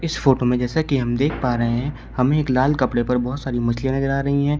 इस फोटो में जैसा कि हमें देख पा रहे है हमे एक लाल कपड़े पर बहोत सारी मछलियां नजर आ रही हैं।